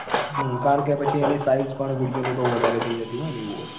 હમ કારણ કે પછી એની size પણ video ની બઉ વધારે થઈ જતી હોય ન એવું હોય